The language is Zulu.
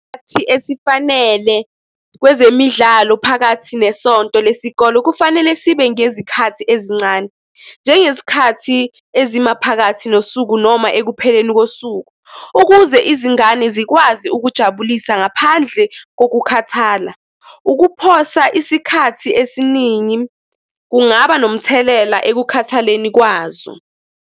Sikhathi esifanele kwezemidlalo phakathi nesonto lesikole kufanele sibe ngezikhathi ezincane. Njengesikhathi ezimaphakathi nosuku noma ekupheleni kosuku, ukuze izingane zikwazi ukujabulisa ngaphandle kokukhathala. Ukuphosa isikhathi esiningi kungaba nomthelela ekukhathaleleni kwazo.